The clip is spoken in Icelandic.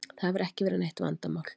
Það hefur ekki verið neitt vandamál.